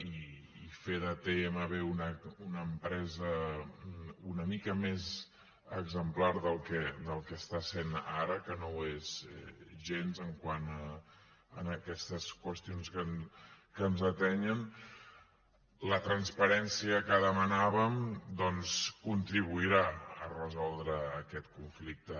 i fer de tmb una empresa una mica més exemplar del que està sent ara que no ho és gens quant a aquestes qüestions que ens atenyen la transparència que demanàvem doncs contribuirà a resoldre aquest conflicte